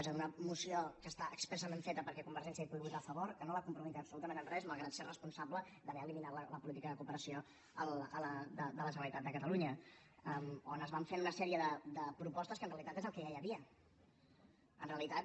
és a dir una moció que està expressament feta perquè convergència hi pugui votar a favor que no la compromet absolutament en res malgrat que és responsable d’haver eliminat la política de cooperació de la generalitat de catalunya on es van fent una sèrie de propostes que en realitat és el que ja hi havia en realitat